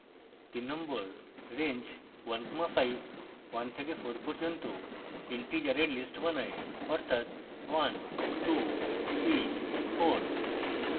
3 range 15 1 থেকে 4 পর্যন্ত integers list বানায় অর্থাৎ 1234